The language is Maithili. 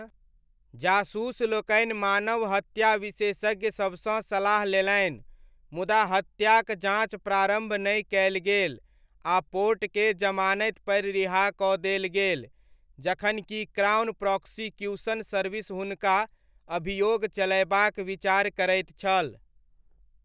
जासूस लोकनि मानवहत्या विशेषज्ञ सबसँ सलाह लेलनि मुदा हत्याक जाँच प्रारम्भ नहि कयल गेल आ पोर्टकेँ जमानतिपर रिहा कऽ देल गेल जखनकि क्राउन प्रॉसिक्यूशन सर्विस हुनका अभियोग चलयबाक विचार करैत छल।